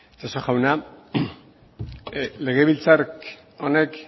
itxaso jauna legebiltzar honek